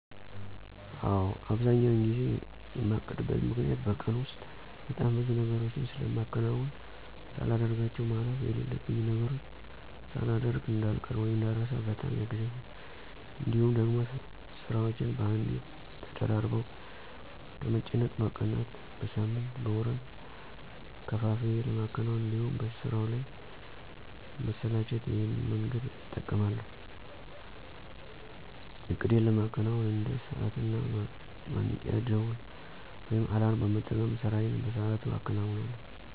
አዎ። አብዛኛውን ጊዜ የማቅድበት ምክኒያቱ በቀን ውስጥ በጣም ብዙ ነገሮችን ስለማከናውን ሳላደርጋቸው ማለፍ የለሉብኝን ነገሮች ሳላደሮግ እዳልቀር ( እንዳረሳ) በጣም ያግዘኛል። እንዲሁም ደግሞ ስራዎቼን በአንዴ ተደራርበው ከምጨነቅ በቀናት፣ በሳምንት፣ በወራት ከፋፍዬ ለማከናወን እንዲሁም በስራው ላለ መሰላቸት ይሄን መንገድ እጠቀማለሁ። እቅዴን ለማከናወን እንደ ሰዓት እና ማንቂያ ደውል (አላርም) በመጠቀም ስራዬን በሰአቱ አከናውነለሁ።